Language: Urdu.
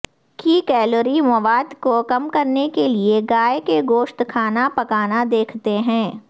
کی کیلوری مواد کو کم کرنے کے لئے گائے کے گوشت کھانا پکانا دیکھتے ہیں